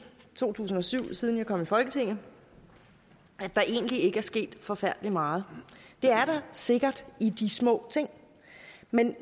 to tusind og syv altså siden jeg kom i folketinget at der egentlig ikke er sket forfærdelig meget det er der sikkert i de små ting men